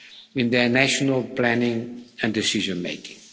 in national planning and decision making.